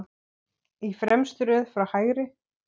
Í fremstu röð frá hægri